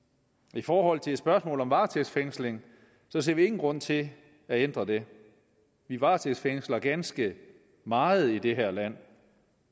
i forhold til spørgsmålet om varetægtsfængsling ser vi ingen grund til at ændre det vi varetægtsfængsler ganske meget i det her land